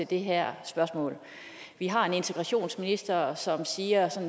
det her spørgsmål vi har en integrationsminister som siger